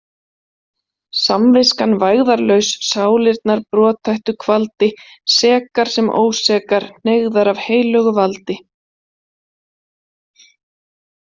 Samviskan vægðarlaus sálirnar brothættu kvaldi, sekar sem ósekar, hneigðar af heilögu valdi.